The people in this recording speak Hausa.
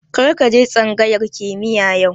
Kar ka je tsangayar kimiya yau